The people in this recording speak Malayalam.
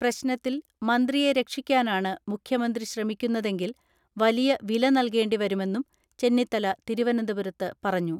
പ്രശ്നത്തിൽ മന്ത്രിയെ രക്ഷിക്കാനാണ് മുഖ്യമന്ത്രി ശ്രമിക്കുന്ന തെങ്കിൽ വലിയ വില നൽകേണ്ടി വരുമെന്നും ചെന്നിത്തല തിരുവനന്തപുരത്ത് പറഞ്ഞു.